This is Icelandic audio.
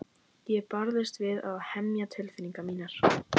Ég barðist við að hemja tilfinningar mínar.